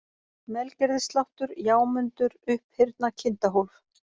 Melgerðissláttur, Jámundur, Upphyrna, Kindahólf